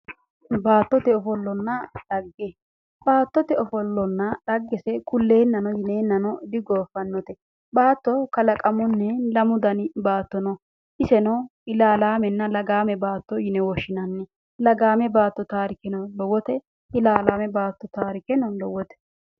Baattote ofollonna xagge, baattote ofollonna xaggese kulleennano digooffannote. Baatto qalaqamunni lamu dani baatto no. Iseno ilaalaamenna lagaame baatto yine woshshinanni. Lagaa baatto taarikeno lowote. Ilaalaame baatto taarikeno lowote.